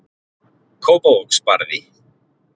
Kópavogsbarði